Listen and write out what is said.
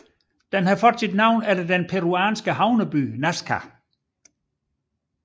Den har fået sit navn efter den peruanske havneby Nazca